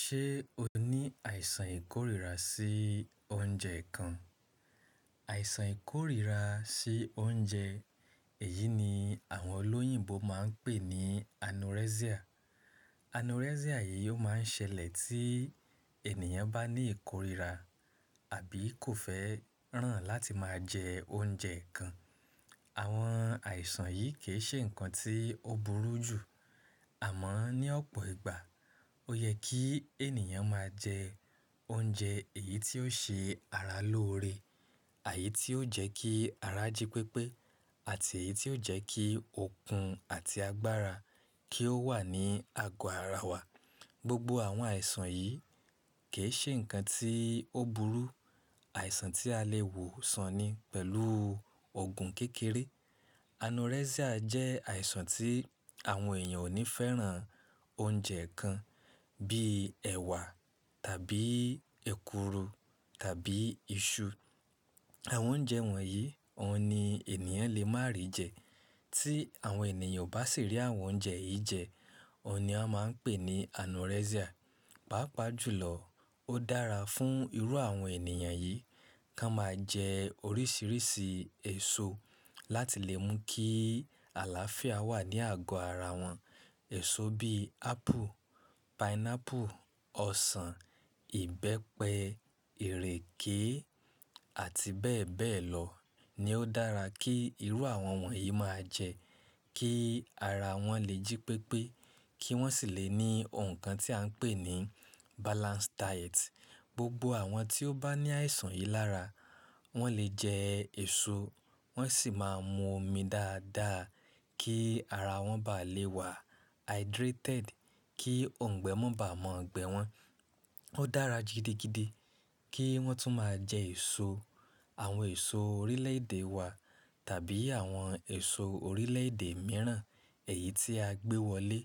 Ṣé o ní àìsàn ìkórira sí oúnjẹ kan? Àìsàn ìkórira sí oúnjẹ èyí ni àwọn olóyìnbo máa ń pè ní anorexia. Anorexia yìí ó máa ń ṣẹlẹ̀ tí ènìyàn bá ní ìkórira àbí kò fẹ́ràn láti máa jẹ oúnjẹ kan. Àwọn àìsàn yìí kì í ṣe ǹkan tí ó burú jù. Àmọ́ ní ọ̀pọ̀ ìgbà ó yẹ kí ènìyàn máa jẹ oúnjẹ èyí tí ó ṣe ara lóore, eyi tí ó jẹ́ kí ara jí pépé àti èyí tí ó jẹ́ kí okun àti agbára kí ó wà ní àgọ́ ara wa. Gbogbo àwọn àìsàn yìí kì í ṣe ǹkan tí ó burú. Àìsàn tí a lè wò sàn ni pẹ̀lú òògùn kékeré. Anorexia jẹ́ àìsàn tí àwọn ènìyàn ò ní fẹ́ràn oúnjẹ kan bíi ẹ̀wà tàbí èkuru tàbí iṣu. Àwọn oúnjẹ wọ̀nyí òun ni ènìyàn lè máa rí jẹ. Tí àwọn ènìyàn ò bá sì rí àwọn oúnjẹ yìí jẹ, òun ni a máa ń pè ní anorexia. Pápa jùlọ ó dára fún irú àwọn ènìyàn yìí kí wọ́n máa jẹ oríṣiríṣi èso láti lè mú kí àlàáfíà wà ní àgó ara wọn. Èso bíi ápple, pineapple, ọsàn, ìbẹ́pẹ, ìrèké àti bẹ́ẹ̀ bẹ́ẹ̀ lọ ni ó dára kí irú àwọn wọ̀nyí máa jẹ kí ara wọn lè jí pépé, kí wọ́n sì lè ní ohun kan tí à ń pè ní balanced diet. Gbogbo àwọn tí ó bá ní àìsàn yìí lára wọn lè jẹ èso, wọ́n sì máa mu omi dáadáa kí ara wọn ba lè wà hydrated, kí oungbẹ mọ́ bá mọ́ ọ̀gbẹ wọn. Ó dára gidigidi kí wọ́n tún máa jẹ èso àwọn èso orílẹ̀ èdè wa tàbí àwọn èso orílẹ̀ èdè mìíràn èyí tí a gbé wọlé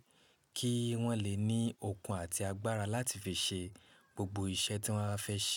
kí wọ́n lè ní okun àti agbára láti fi ṣe gbogbo iṣẹ́ tí wọ́n bá fẹ́ ṣe.